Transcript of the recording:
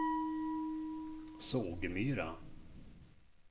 Sågmyra